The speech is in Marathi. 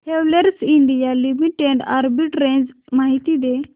हॅवेल्स इंडिया लिमिटेड आर्बिट्रेज माहिती दे